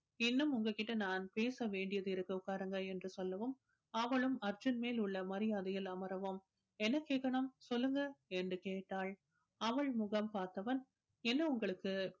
இன்னும் உங்க கிட்ட நான் பேச வேண்டியது இருக்கு உட்காருங்க என்று சொல்லவும் அவளும் அர்ஜுன் மேல் உள்ள மரியாதையில் அமரவும் என்ன கேக்கணும் சொல்லுங்க என்று கேட்டால் அவள் முகம் பார்த்தவன் என்னை உங்களுக்கு